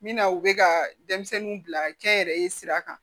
Min na u bɛ ka denmisɛnninw bila kɛ n yɛrɛ ye sira kan